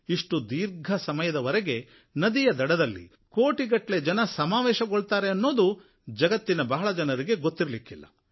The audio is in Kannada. ಇಷ್ಟು ದೀರ್ಘ ಸಮಯದ ವರೆಗೆ ನದಿಯ ದಡದಲ್ಲಿ ಕೋಟಿಗಟ್ಟಲೆ ಜನ ಸಮಾವೇಶಗೊಳ್ಳುತ್ತಾರೆ ಎನ್ನುವುದು ಜಗತ್ತಿನ ಬಹಳ ಕಡಿಮೆ ಜನರಿಗೆ ಗೊತ್ತು